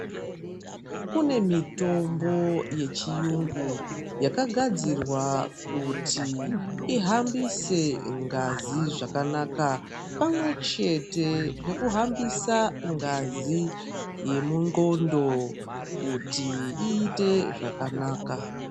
Kune mitombo yechiyungu yakagadzirwa kuti ihambise ngazi zvakanaka pamwe chete nekuhambisa ngazi yemunxondo kuti iite zvakanaka.